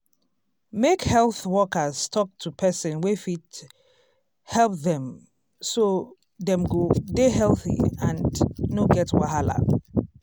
make health workers talk to person wey fit help dem so dem go dey healthy and no get wahala.